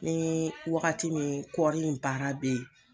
Ni waagati min kɔɔri in baara bɛ yen.